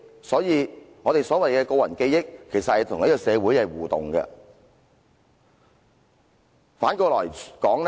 所以，所謂的個人記憶，其實與這個社會是互動的。